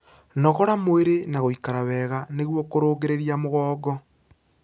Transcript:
Nogora mwĩrĩ na guikara wega nĩguo kurungirirĩa mugongo